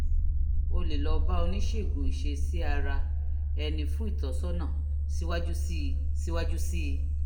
o lè lọ bá oníṣègùn ìṣesí-ara-ẹni fún ìtọ́sọ́nà síwájú sí i síwájú sí i